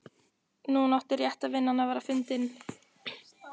Núna átti rétta vinnan að vera fundin.